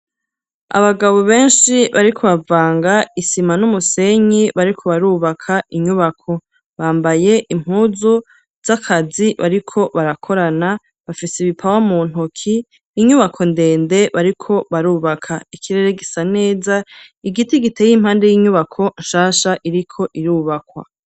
Abagabo benshi bariko bavanga isima n'umusenyi, bariko barubaka inyubako. Bambaye impuzu z'akazi bariko barakorana bafise ibipawa mu ntoki, inyubako ndende bariko barubaka ikirere gisa neza igiti giteye impande y'inyubako nshasha iriko irubakwa.